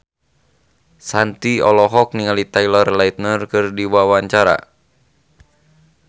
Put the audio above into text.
Shanti olohok ningali Taylor Lautner keur diwawancara